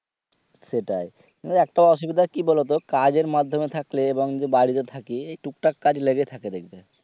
তাই সব থেকে অসুবিধা কি বলতো কাজ মাধ্যমে থাকলে এবং যে বাড়িতে থাকি টুকটাক কাজগুলো লেগে থাকে দেখবে।